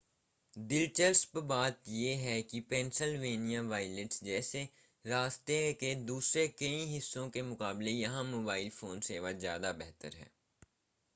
दिलचस्प बात यह है कि पेंसिलवेनिया वाइल्ड्स जैसे रास्ते के दूसरे कई हिस्सों के मुकाबले यहां मोबाइल फ़ोन सेवा ज़्यादा बेहतर है